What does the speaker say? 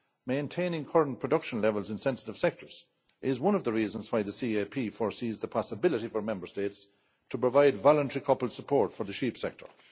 Maintaining current production levels in sensitive sectors is one of the reasons why the CAP foresees the possibility for Member States to provide voluntary coupled support for the sheep sector.